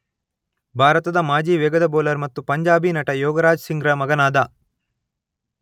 ಭಾರತದ ಮಾಜಿ ವೇಗದ ಬೌಲರ್ ಮತ್ತು ಪಂಜಾಬಿ ನಟ ಯೋಗರಾಜ್ ಸಿಂಗ್ರ ಮಗನಾದ.